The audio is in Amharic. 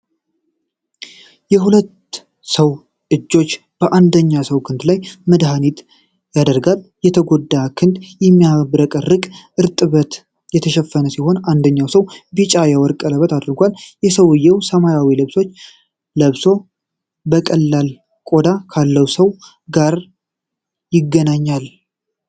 የሁለት ሰው እጆች የአንደኛው ሰው ክንድ ላይ መድሃኒት ያደርጋሉ። የተጎዳው ክንድ በሚያብረቀርቅ እርጥበት የተሸፈነ ሲሆን፣ አንደኛው ሰው ቢጫ የወርቅ ቀለበት አድርጓል። ሰውየው ሰማያዊ ልብስ ለብሶ ከቀላል ቆዳ ካለው ሰው ጋር ይገናኛል።